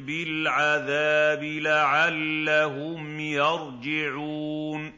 بِالْعَذَابِ لَعَلَّهُمْ يَرْجِعُونَ